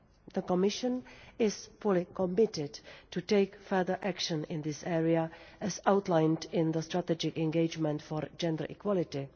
The Commission is fully committed to take further action in this area, as outlined in the Strategic Engagement for gender equality'.